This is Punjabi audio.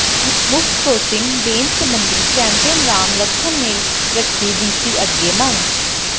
ਮੁਫਤ ਕੋਚਿੰਗ ਦੇਣ ਸਬੰਧੀ ਚੈਂਪੀਅਨ ਰਾਮ ਲਖਨ ਨੇ ਰੱਖੀ ਡੀਸੀ ਅੱਗੇ ਮੰਗ